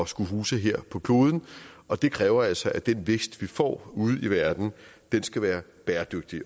skulle huse her på kloden og det kræver altså at den vækst vi får ude i verden skal være bæredygtig